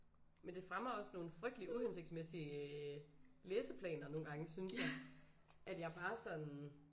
Men det fremmer også nogle frygteligt uhensigtsmæssige læseplaner nogle gange synes jeg at jeg bare sådan